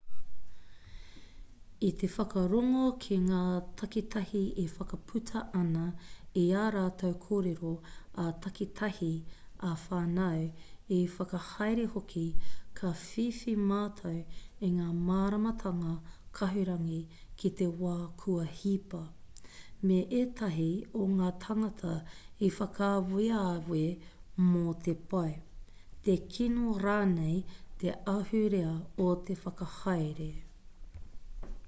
i te whakarongo ki ngā takitahi e whakaputa ana i ā rātou kōrero ā-takitahi ā-whānau ā-whakahaere hoki ka whiwhi mātou i ngā māramatanga kahurangi ki te wā kua hipa me ētahi o ngā tāngata i whakaaweawe mō te pai te kino rānei te ahurea o te whakahaere